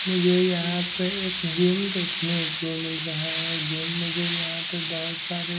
मुझे यहां पे एक जिम देखने को मिल रहा हैं। जिम मुझे यहां पर बहोत सारे--